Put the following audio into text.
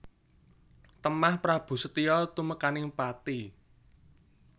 Temah Prabu Setija tumekaning pati